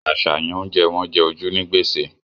Àṣàyàn oúnjẹ wọn jẹ ojú ní gbèsè